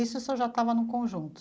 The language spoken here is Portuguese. Isso o senhor já estava no conjunto?